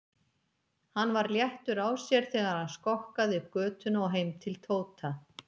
Hann var léttur á sér þegar hann skokkaði upp götuna og heim til Tóta.